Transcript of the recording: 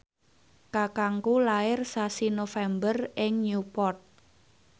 kakangku lair sasi November ing Newport